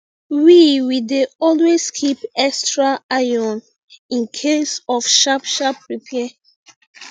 we we dey always keep extra iron incase of sharp sharp repair